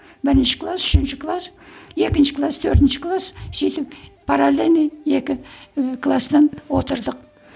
бірінші класс үшінші класс екінші класс төртінші класс сөйтіп паралельный екі і кластан отырдық